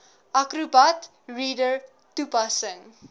acrobat reader toepassing